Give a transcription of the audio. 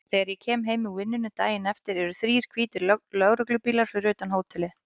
Þegar ég kem heim úr vinnunni daginn eftir eru þrír hvítir lögreglubílar fyrir utan hótelið.